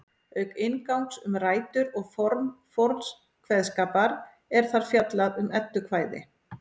Auk inngangs um rætur og form forns kveðskapar er þar fjallað um eddukvæði.